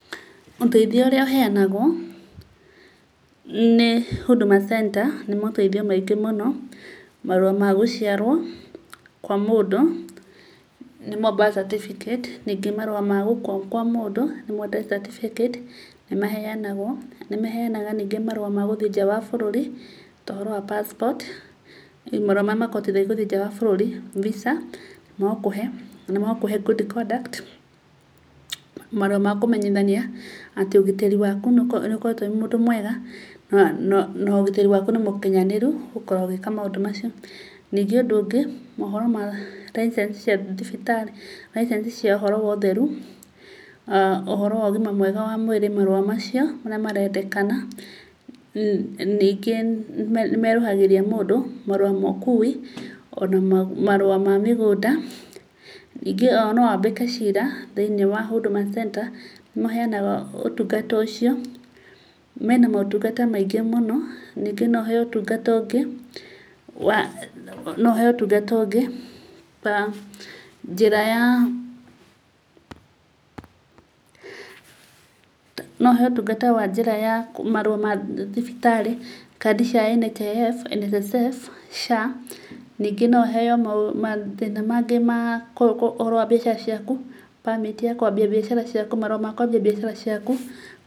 Ũteithio ũrĩa ũheyanagwo, nĩ Huduma Center nĩ moteithio maingĩ mũno, marũa magũciarwo kwa mũndũ, nĩmo birth certificate, ningĩ marũa magũkua kwa mũndũ nĩmo death certificate, nĩmaheyanagwo. Nĩmaheyaga ningĩ marũa magũthiĩ nja wa bũrũri, ta ũhoro wa passport marĩa makũhotithagia gũthiĩ nja wa bũrũri, mbica, magakũhe, magakũhe good conduct, marũa makũmenyithania atĩ ũgitĩri waku nĩũkoretwo wĩmũndũ mwega, nogĩtĩri waku nĩmũkinyanĩru, gukorwo ũgĩka maũndũ macio. Ningĩ ũndũ ũngĩ, gukorwo na license cia thibitarĩ, license cia ũhoro wa ũtheru, ũhoro wa ũgima wa mwĩrĩ marũa macio, marĩa marendekana, ningĩ nĩ merũhagĩria mũndũ marũa ma ũkuwi, ona marũa mamĩgũnda. Ningĩ ona nowambĩke cira thĩinĩ wa Huduma Center, nĩ maheyanaga ũtungata ũcio. Mena motungata maingĩ mũno, ningĩ noũheyo ũtungata ũngĩ, noũheyo ũtungata ũngĩ wa njira ya no ũheyo ũtungata wa njĩra ya marũa ma thibitarĩ, kandi cia NSSF, SHA. Ningĩ noũheyo mathĩna mangĩ ma ũhoro wa mbiacara ciaku, permit cia kũambia mbiacara ciaku, marũa makwambia mbiacara ciaku.